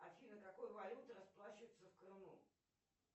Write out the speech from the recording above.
афина какой валютой расплачиваются в крыму